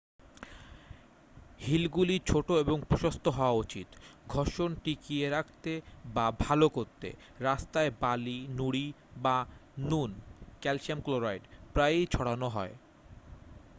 হিলগুলি ছোট এবং প্রশস্ত হওয়া উচিত। ঘর্ষণ টিকিয়ে রাখতে বা ভাল করতে রাস্তায় বালি নুড়ি বা নুন ক্যালশিয়াম ক্লোরাইড প্রায়ই ছড়ানো হয়।